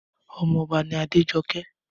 Ọmọ ọba ni Adéjọké